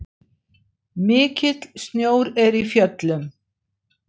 Mikill snjór er í fjöllum.